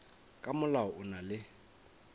ka molao o na le